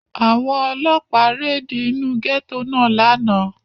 Àwọn Ọlọ́pàá réde inú gẹ́tò náà lánàá.